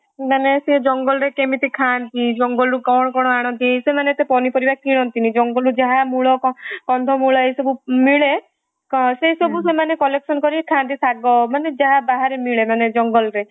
ସେ ଜଙ୍ଗଲରେ କେମିତି ଖାନ୍ତି, ଜଙ୍ଗଲରୁ କ'ଣ କ'ଣ ଆଣନ୍ତି ସେମାନେ ଏତେ ପନିପରିବା କିଣନ୍ତିନି ଜଙ୍ଗଲରୁ ଯାହା ମୂଳ, କନ୍ଧମୂଳ ଯାହା ସବୁ ମିଳେ ସେଇସବୁ ସେମାନେ collectionକରି ଖାନ୍ତି ଶାଗ ମାନେ ଯାହା ମାନେ ଯାହା ବାହାରେ ମିଳେ ମାନେ ଜଙ୍ଗଲ ରେ